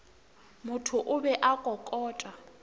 motho o be a kokota